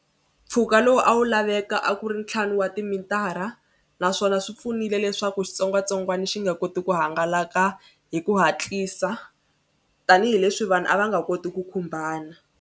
Mpfhuka lowu a wu laveka a ku ri ntlhanu wa timitara naswona swi pfunile leswaku xitsongwatsongwana xi nga koti ku hangalaka hi ku hatlisa tanihileswi vanhu a va nga koti ku khumbana.